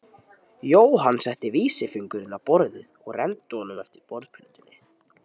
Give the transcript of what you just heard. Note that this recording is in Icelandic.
Jóhann setti vísifingurinn á borðið og renndi honum eftir borðplötunni.